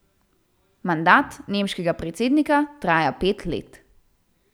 Mandat nemškega predsednika traja pet let.